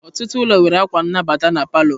Ọtụtụ ụlọ nwere akwa nnabata na palọ.